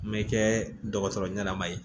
Me kɛ dɔgɔtɔrɔ ɲɛnama ye